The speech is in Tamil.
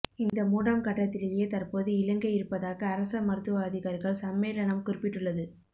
இந்த மூன்றாம் கட்டத்திலேயே தற்போது இலங்கை இருப்பதாக அரச மருத்துவ அதிகாரிகள் சம்மேளனம் குறிப்பிட்டுள்ளது